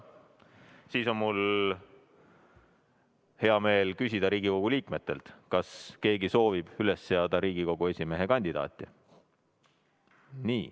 Siis on mul hea meel küsida Riigikogu liikmetelt, kas keegi soovib üles seada Riigikogu esimehe kandidaati.